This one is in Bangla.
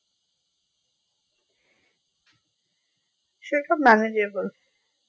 সে সব manageable